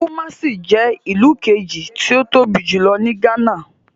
Kumasi je ilu keji ti o tobi julo ni Ghana.